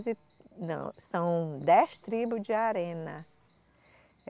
Não, são dez tribos de arena. É